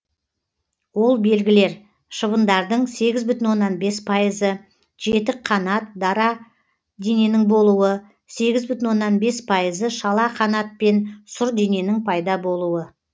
ол белгілер шыбындардың сегіз бүтін оннан бес пайызы жетік қанат қара дененің болуы сегіз бүтін оннан бес пайызы шала қанат пен сұр дененің пайда болуы